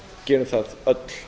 gerum það öll